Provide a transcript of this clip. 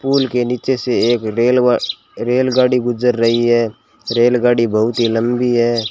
पुल के नीचे से एक रेल व रेलगाड़ी गुजर रही है रेलगाड़ी बहुत ही लंबी है।